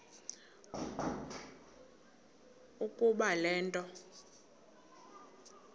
ukuba le nto